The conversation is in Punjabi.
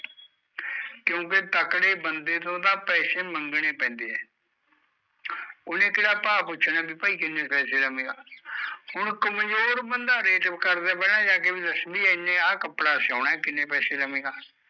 ਕਿਉਂਕਿ ਤਕੜੇ ਬੰਦੇ ਤੋਂ ਤਾਂ ਪੈਸੇ ਮੰਗਣੇ ਪੈਂਦੇ ਐ ਉਹਨੇ ਕਿਹੜਾ ਭਾਅ ਪੁੱਛਣਾ ਭਾਈ ਕਿੰਨੇ ਪੈਸੇ ਦਾ ਮਿਲਿਆ, ਹੁਣ ਕਮਜ਼ੋਰ ਬੰਦਾ ਰੇਟ ਕਰਦਾ ਪਹਿਲਾ ਜਾ ਕੇ ਬਈ ਦੱਸ ਬਈ ਇੰਨੇ ਆਹ ਕੱਪੜਾ ਸਿਓਣਾ ਵੀ ਕਿੰਨੇ ਪੈਸੇ ਲਵੇਗਾ?